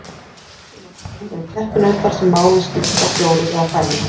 Á flestum mörkuðum eru keppinautar sem máli skipta fjórir eða færri.